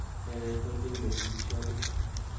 Nee neitorjingei jigilishonit ?